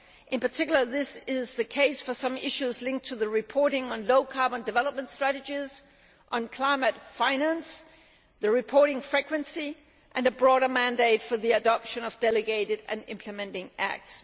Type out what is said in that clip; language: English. In particular this is the case for some issues linked to the reporting on low carbon development strategies, climate finance, reporting frequency and a broader mandate for the adoption of delegated and implementing acts.